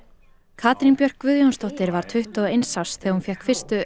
Katrín Björk Guðjónsdóttir var tuttugu og eins árs þegar hún fékk fyrstu